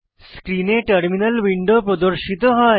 স্ক্রিনে terminal window প্রদর্শিত হয়